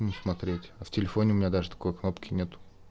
не смотреть а в телефоне у меня даже такой кнопки нет